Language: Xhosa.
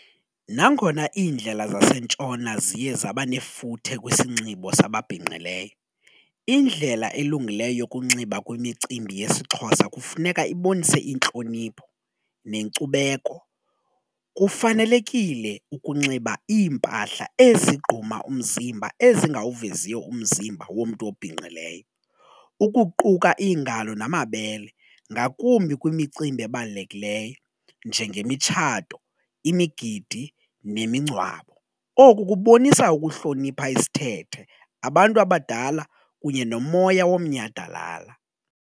Nangona iindlela zasentshona ziye zaba nefuthe kwisinxibo sababhinqileyo, indlela elungileyo yokunxiba kwimicimbi yesiXhosa kufuneka ibonise intlonipho nenkcubeko kufanelekile ukunxiba iimpahla ezigquma umzimba ezingawuveziyo umzimba womntu obhinqileyo ukuquka iingalo namabele ngakumbi kwimicimbi ebalulekileyo njengemitshato, imigidi nemingcwabo oku kubonisa ukuhlonipha isithethe abantu abadala kunye nomoya womnyhadalala.